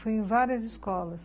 Fui em várias escolas.